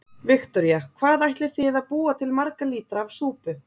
Viktoría: Hvað ætlið þið að búa til marga lítra af súpu?